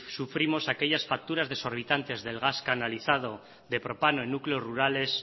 sufrimos aquellas facturas desorbitantes del gas canalizado de propano en núcleos rurales